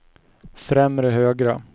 främre högra